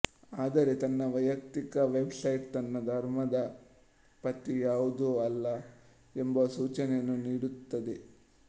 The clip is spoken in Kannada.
ಆದರೆ ತನ್ನ ವೈಯಕ್ತಿಕ ವೆಬ್ ಸೈಟ್ ತನ್ನ ಧರ್ಮದ ಪಟ್ಟಿ ಯಾವುದೂ ಅಲ್ಲ ಎಂಬುವ ಸೂಚನೆಯನ್ನು ನೀಡುತ್ತದೆ